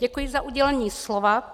Děkuji za udělení slova.